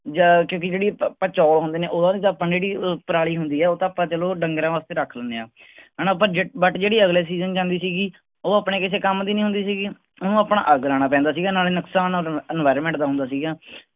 ਜਾਂ ਕਿਉਂਕਿ ਜੇੜੀ ਪਾ ਪਚੌਲ ਹੁੰਦੇ ਨੇ ਓਦੋ ਵਿਚ ਜੇੜੀ ਪਰਾਲੀ ਹੁੰਦੀ ਆ ਉਹ ਤਾਂ ਆਪਾਂ ਚਲੋਂ ਡੰਗਰਾਂ ਵਾਸਤੇ ਰੱਖ ਲੈਂਦੇ ਆਂ ਹੈਨਾ but ਜਿਹੜੀ ਅਗਲੇ season ਜਾਂਦੀ ਸੀਗੀ ਉਹ ਆਪਣੇ ਕਿਸੇ ਕੰਮ ਦੀ ਨਹੀਂ ਹੁੰਦੀ ਸੀਗੀ ਓਹਨੂੰ ਆਪਣਾ ਅੱਗ ਲੋਣਾ ਪੈਂਦਾ ਸੀਗਾ ਨਾਲੇ ਨੁਕਸਾਨ environment ਦਾ ਹੁੰਦਾ ਸੀਗਾ।